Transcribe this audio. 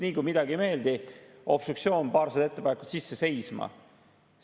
Nii kui midagi ei meeldi – obstruktsioon, paarsada ettepanekut sisse, seisma.